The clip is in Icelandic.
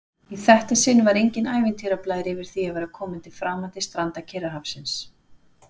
Í þetta sinn var enginn ævintýrablær yfir því að vera komin til framandi stranda Kyrrahafsins.